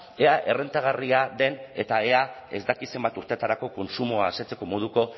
ea errentagarria den eta ea ez dakit zenbat urteetarako kontsumoa asetzeko moduko